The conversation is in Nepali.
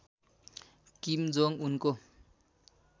किम जोङ उनको